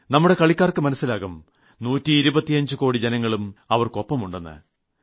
നമ്മുടെ കളിക്കാർക്ക് മനസിലാകും 125 കോടി ജനങ്ങളും അവർക്ക് ഒപ്പമുണ്ടെ്